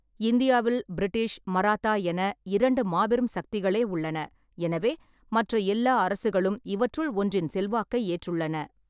இந்தியாவில் பிரிட்டிஷ், மராத்தா என இரண்டு மாபெரும் சக்திகளே உள்ளன, எனவே மற்ற எல்லா அரசுகளும் இவற்றுள் ஒன்றின் செல்வாக்கை ஏற்றுள்ளன.